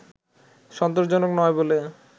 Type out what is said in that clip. সন্তোষজনক নয় বলে